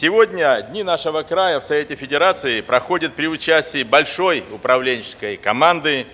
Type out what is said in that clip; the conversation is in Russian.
сегодня дни нашего края в совете федерации проходят при участии большой управленческой команды